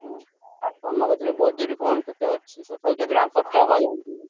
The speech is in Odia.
ହୁଁ। ଆଉ ତମ କତିରେ budget କଣ କେତେ ଅଛି ତଥାପି କେତେ ଟଙ୍କା ଖର୍ଚ ହବ?